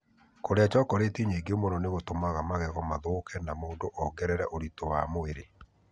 Kũrĩa chocolate nyingĩ mũno nĩ gũtũmaga magego mathũke na mũndũ ongerere ũritũ wa mwĩrĩ..